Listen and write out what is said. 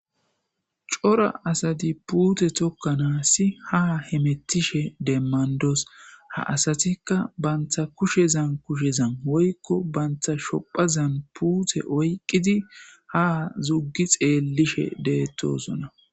corra assati puute tokkanassi ha hemettishshe demanddos ha asatikka bantta kushezan kushezan woykko bantta shuphphazan puute oyqqidi ha zuggi xeellishe dettossona